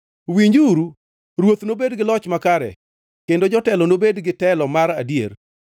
Winjuru, Ruoth nobed gi loch makare kendo jotelo nobed gi telo mar adier.